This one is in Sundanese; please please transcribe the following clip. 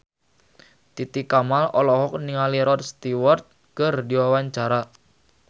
Titi Kamal olohok ningali Rod Stewart keur diwawancara